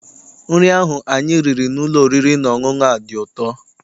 Nri ahụ anyị riri n'ụlọ oriri na ọṅụṅụ a dị ụtọ.